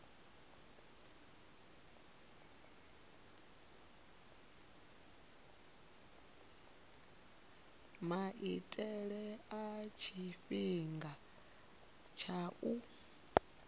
maitele na tshifhinga tsha u